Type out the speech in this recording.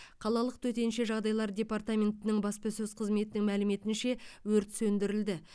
қалалық төтенше жағдайлар департаментінің баспасөз қызметінің мәліметінше өрт сөндірілді